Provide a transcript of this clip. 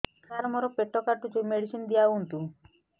ସାର ମୋର ପେଟ କାଟୁଚି ମେଡିସିନ ଦିଆଉନ୍ତୁ